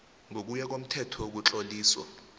ngokuya komthetho wokutloliswa